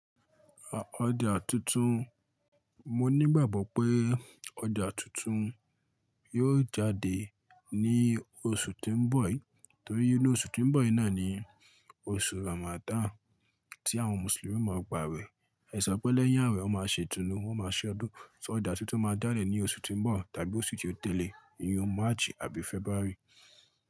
Ọjà tuntun, mo nígbàgbọ́ pé ọjà tuntun yóò jáde ní oṣù tí ń bọ̀ yìí, torí pé oṣù tí ń bọ̀ yìí náà ni oṣù Ramadan tí àwọn Mùsùlùmí máa gba wẹ̀. Ẹ̀sọ́ pẹ̀ lẹ́yìn àwẹ̀ wọ́n máa ṣe itunu, wọ́n máa ṣe ọdún. So ọjà tuntun máa jadẹ̀ ní oṣù tí ń bọ̀ tàbí oṣù tí ó tẹ̀lé yìí, iyen March àbí February?